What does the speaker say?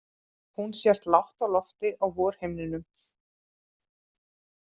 Hún sést lágt á lofti á vorhimninum.